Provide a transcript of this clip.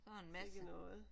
Sikke noget